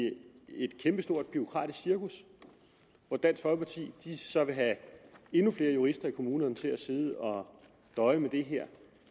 i stort bureaukratisk cirkus hvor dansk folkeparti så vil have endnu flere jurister i kommunerne til at sidde og døje med det her